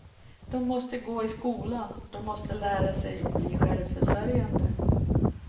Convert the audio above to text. Dom måste gå i skolan, dom måste lära sig bli självförsörjande.